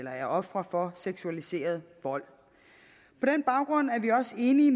er ofre for seksualiseret vold på den baggrund er vi også enige